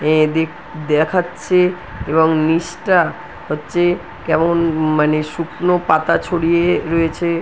এদিক দেখাচ্ছে এবং নিচটা হচ্ছে কেমন উম মানে শুকনো পাতা ছড়িয়ে রয়েছে ।